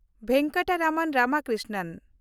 Venkataramanan Ramakrishnan